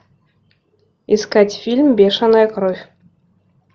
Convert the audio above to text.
искать фильм бешеная кровь